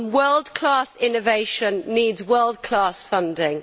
world class innovation needs world class funding.